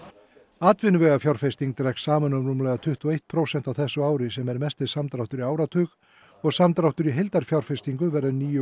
atvinnuvegafjárfesting dregst saman um rúmlega tuttugu og eitt prósent á þessu ári sem er mesti samdráttur í áratug og samdráttur í heildarfjárfestingu verður níu